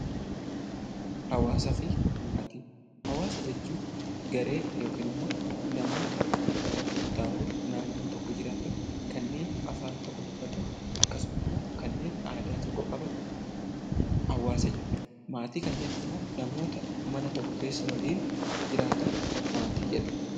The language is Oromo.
Hawaasaa fi Maatii Hawaasa jechuun garee yookiun immoo namoota murtaawoo naannoo tokko jiraatan, kanneen afaan tokko dubbatan akkasuma immoo kanneen aadaa tokko qaban 'Hawaasa' jenna. Maatii kan jennu immoo namoota mana tokko keessa waliin jiraatan 'Maatii' jedhamu.